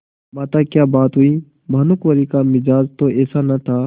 माताक्या बात हुई भानुकुँवरि का मिजाज तो ऐसा न था